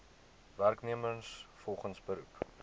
werknemers volgens beroep